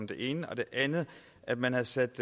det ene det andet er at man har sat